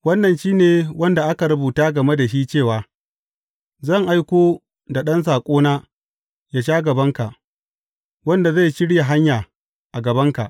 Wannan shi ne wanda aka rubuta game da shi cewa, Zan aiko da ɗan saƙona yă sha gabanka, wanda zai shirya hanya, a gabanka.’